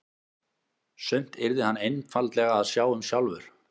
Sumt yrði hann einfaldlega að sjá um sjálfur.